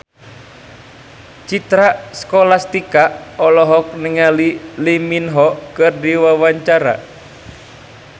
Citra Scholastika olohok ningali Lee Min Ho keur diwawancara